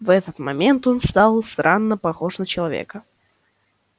в этот момент он стал странно похож на человека